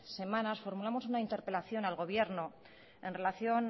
semanas formulamos una interpelación al gobierno en relación